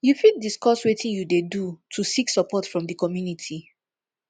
you fit discuss wetin you dey do to seek support from di community